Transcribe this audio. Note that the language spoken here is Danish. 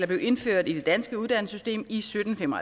blev indført i det danske uddannelsessystem i sytten fem og